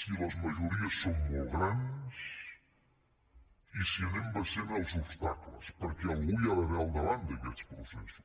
si les majories són molt grans i si anem vencent els obstacles perquè algú hi ha d’haver al davant d’aquests processos